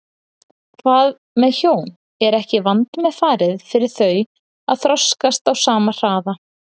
Hvað með hjón, er ekki vandmeðfarið fyrir þau að þroskast á sama hraða?